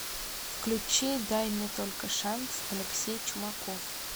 включи дай мне только шанс алексей чумаков